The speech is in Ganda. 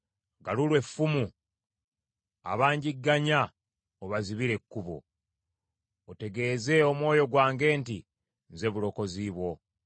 Galula effumu, abangigganya obazibire ekkubo; otegeeze omwoyo gwange nti, “Nze bulokozi bwo.”